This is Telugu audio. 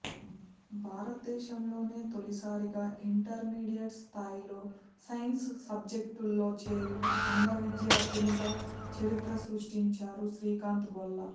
భారత దేశంలోనే తొలిసారిగా ఇంటర్మీడియట్ స్థాయిలో సైన్స్ సబ్జెక్ట్లో చేరిన అంధ విద్యార్థిగా చరిత్ర సృష్టించాడు శ్రీకాంత్ బొల్ల